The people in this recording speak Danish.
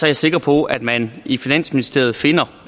jeg sikker på at man i finansministeriet finder